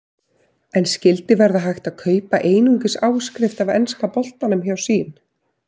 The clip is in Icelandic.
En skyldi verða hægt að kaupa einungis áskrift af enska boltanum hjá Sýn?